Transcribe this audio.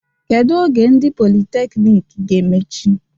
Kedu oge ndị politekniik ga-emechi?